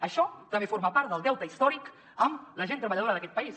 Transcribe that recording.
això també forma part del deute històric amb la gent treballadora d’aquest país